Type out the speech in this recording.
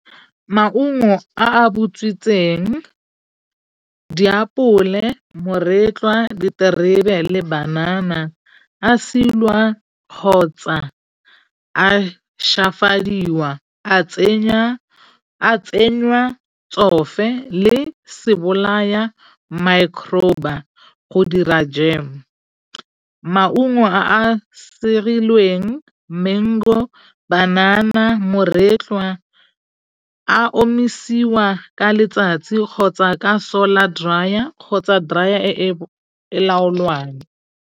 Maungo a a butswitseng, diapole moretlwa, diterebe le banana a silwa kgotsa a shafadiwa a tsenya a tsenywa tsofe le sebolaya go dira jeme. Maungo a a sirilweng, mango, banana, moretlwa a omisiwa ka letsatsi kgotsa ka solar dryer kgotsa dryer e e laolwang.